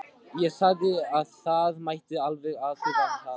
Ég sagði að það mætti alveg athuga það.